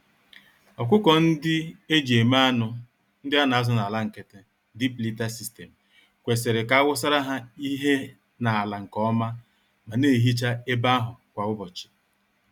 Ọkụkọ-ndị-eji-eme-anụ, ndị anazụ n'ala nkịtị, (deep liter system) kwesịrị ka awusara ha ihe n'ala nke ọma ma nehicha ebe ahụ kwa ụbọchị.